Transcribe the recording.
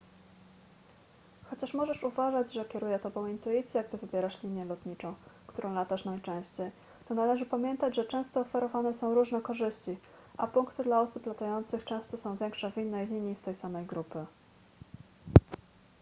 chociaż możesz uważać że kieruje tobą intuicja gdy wybierasz linię lotniczą którą latasz najczęściej to należy pamiętać że często oferowane są różne korzyści a punkty dla osób latających często są większe w innej linii z tej samej grupy